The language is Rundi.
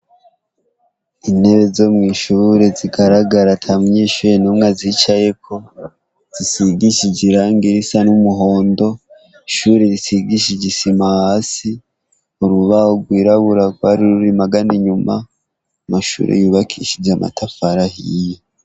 Intebe zo mw’ishure zigaragara atamunyeshure numwe azicayeko, zisigishije irangi risa n’umuhondo, ishure risigishije isima hasi, urubaho rwirabura rwari ruri magana inyuma, amashure yubakishije amatafari ahiye.